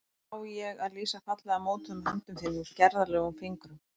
Hvernig á ég að lýsa fallega mótuðum höndum þínum, gerðarlegum fingrum?